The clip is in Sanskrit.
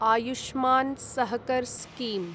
आयुष्मान् सहकर् स्कीम्